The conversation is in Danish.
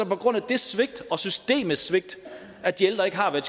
på grund af det svigt og systemets svigt at de ældre ikke har hvad